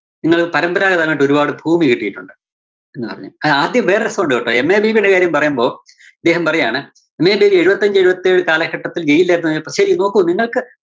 നിങ്ങള്‍ പരമ്പരഗതമായിട്ട് ഒരുപാട് ഭൂമി കിട്ടിയിട്ടുണ്ട് എന്നു പറഞ്ഞു. ആ ആദ്യം വേറൊരു രസണ്ട് കേട്ടോ. MA ബേബിടെ കാര്യം പറയുമ്പോ, ഇദ്ദേഹം പറയാണ് MA ബേബി എഴുപത്തഞ്ച് എഴുപത്തേഴ് കാലഘട്ടത്തില്‍ ജയിലിലായിരുന്നു, പക്ഷെ നോക്കു നിങ്ങള്‍ക്ക്